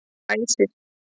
Æsir